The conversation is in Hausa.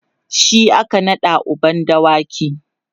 shi aka naɗa uban dawaki